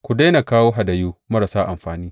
Ku daina kawo hadayu marasa amfani!